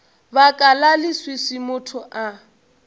baka la leswiswi motho a